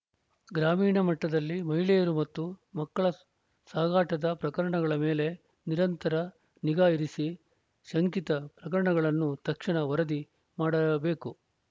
ಗ್ರಾಮೀಣ ಮಟ್ಟದಲ್ಲಿ ಮಹಿಳೆಯರ ಮತ್ತು ಮಕ್ಕಳ ಸಾಗಾಟದ ಪ್ರಕರಣಗಳ ಮೇಲೆ ನಿರಂತರ ನಿಗಾ ಇರಿಸಿ ಶಂಕಿತ ಪ್ರಕರಣಗಳನ್ನು ತಕ್ಷಣ ವರದಿ ಮಾಡಬೇಕು